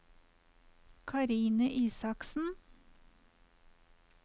Karine Isaksen